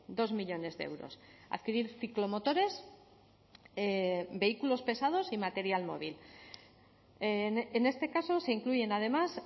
dos millónes de euros adquirir ciclomotores vehículos pesados y material móvil en este caso se incluyen además